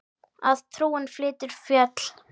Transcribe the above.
Að trúin flytur fjöll.